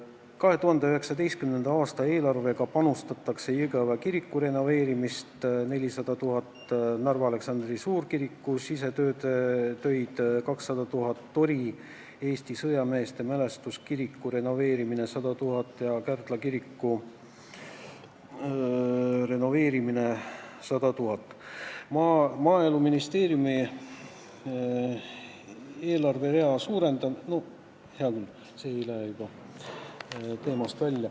2019. aasta eelarvest toetatakse Jõgeva kiriku renoveerimist 400 000, Narva Aleksandri suurkiriku sisetöid 200 000, Tori Eesti sõjameeste mälestuskiriku renoveerimist 100 000 ja Kärdla kiriku renoveerimist 100 000 euroga.